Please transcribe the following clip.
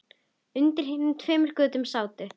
Undir hinum tveimur götunum sátu